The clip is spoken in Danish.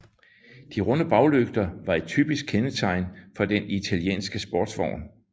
De runde baglygter var et typisk kendetegn for den italienske sportsvogn